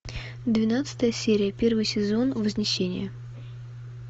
двенадцатая серия первый сезон вознесение